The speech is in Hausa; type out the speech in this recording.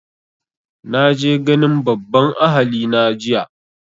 Na je ganin babban ahali na jiya